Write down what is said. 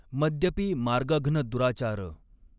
मद्यपी मार्गघ्न दुराचार।